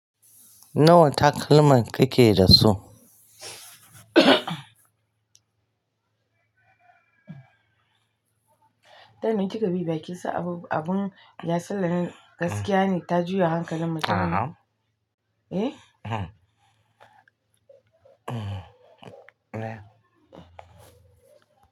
Nawa takalman kike da su? Ta minti gabi ba kisa abu, abun yasalla gaskiya ne ta juya hankalin mutane. A'a. Eh? Eh.